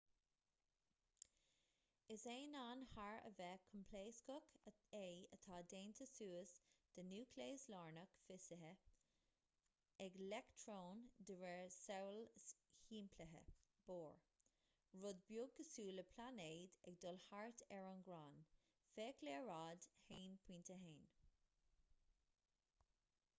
is aonán thar a bheith coimpléascach é atá déanta suas de núicléas lárnach fithisithe ag leictreoin de réir samhail shimplithe bohr rud beag cosúil le pláinéid ag dul thart ar an ghráin féach léaráid 1.1